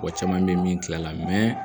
Mɔgɔ caman bɛ ye min tilala